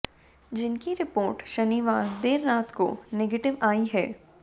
जिनकी रिपोर्ट शनिवार देर रात को नेगेटिव आई है